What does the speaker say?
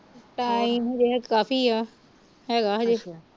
time ਹਜੇ ਕਾਫੀ ਆ ਹੈਗਾ ਅਜੇ